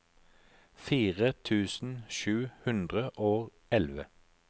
fire tusen sju hundre og elleve